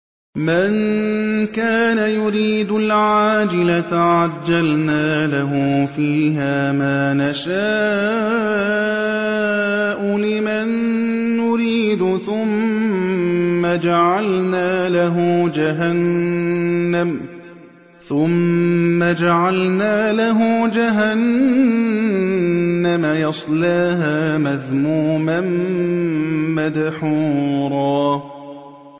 مَّن كَانَ يُرِيدُ الْعَاجِلَةَ عَجَّلْنَا لَهُ فِيهَا مَا نَشَاءُ لِمَن نُّرِيدُ ثُمَّ جَعَلْنَا لَهُ جَهَنَّمَ يَصْلَاهَا مَذْمُومًا مَّدْحُورًا